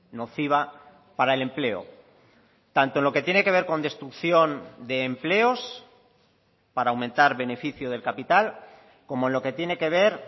nociva para el empleo tanto en lo que tiene que ver con destrucción de empleos para aumentar beneficio del capital como en lo que tiene que ver